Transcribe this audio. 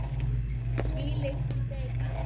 Þvílík steypa!